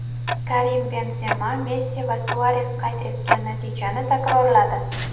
Karim Benzema Messi va Suares qayd etgan natijani takrorladi.